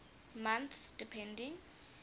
months depending